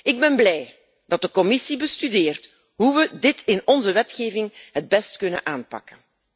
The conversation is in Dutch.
Ik ben blij dat de Commissie bestudeert hoe we dit in onze wetgeving het beste kunnen aanpakken.